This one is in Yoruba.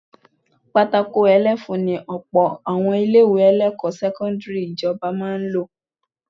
Pátákó òní ẹfun ni ọ̀pọ̀ àwọn ilé-ẹ̀kọ́ sẹ́kọ́ndírì ìjọba máa ń lò